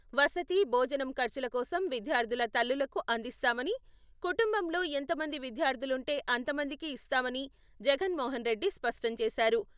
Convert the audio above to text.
వసతి, భోజనం ఖర్చుల కోసం విద్యార్థుల తల్లులకు అందిస్తామని, కుటుంబంలో ఎంతమంది విద్యార్థులుంటే అంతమందికి ఇస్తామని జగన్మోహన్ రెడ్డి స్పష్టంచేశారు.